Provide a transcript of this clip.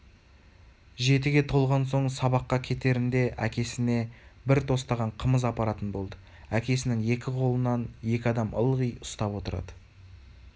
жетіге толған соң сабаққа кетерінде әкесіне бір тостаған қымыз апаратын болды әкесінің екі қолын екі адам ылғи ұстап отырады